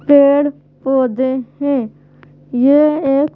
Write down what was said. पेड़-पौधे हैं यह एक--